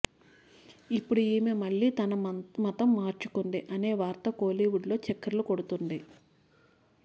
ఇప్పుడు ఈమె మళ్ళీ తన మతం మార్చుకుంది అనే వార్త కోలీవుడ్లో చక్కర్లు కొడుతుంది